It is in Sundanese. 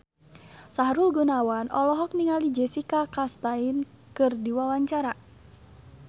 Sahrul Gunawan olohok ningali Jessica Chastain keur diwawancara